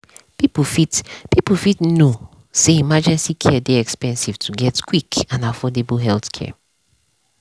people fit people fit know say emergency care dey expensive to get quick and affordable healthcare.